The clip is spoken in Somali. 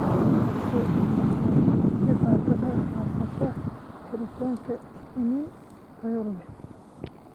Waxaa soo ifbaxaya dhibaatada haysata helitaanka iniin tayo leh.